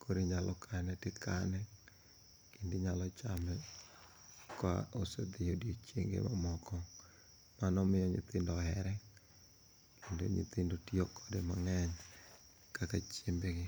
koro inyalo kane ti kane kendo inyalo chame koa koso odiochienge ma moko mano e ma omiyo nyithindo ohere mano ema omiyo nyithindo ohere kendo nyithindo tiyokode mange'ny kaka chiembgi.